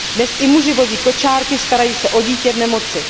Dnes i muži vozí kočárky, starají se o dítě v nemoci.